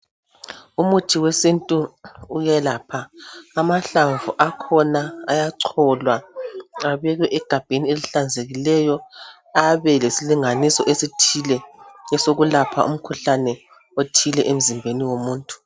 Umuthi wesintu uyelapha amahlamvu akhona ayacholwa abekwe egabheni elihlanzekileyo abe lesilinganiso esithile esokulapha umkhuhlane othile emzimbeni womuntu